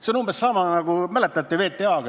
See on umbes sama, nagu oli VTA-ga – mäletate?